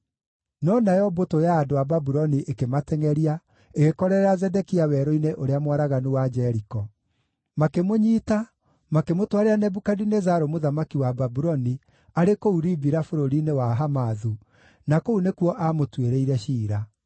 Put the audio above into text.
No nayo mbũtũ ya andũ a Babuloni ĩkĩmatengʼeria, ĩgĩkorerera Zedekia werũ-inĩ ũrĩa mwaraganu wa Jeriko. Makĩmũnyiita, makĩmũtwarĩra Nebukadinezaru mũthamaki wa Babuloni arĩ kũu Ribila bũrũri-inĩ wa Hamathu, na kũu nĩkuo aamũtuĩrĩire ciira.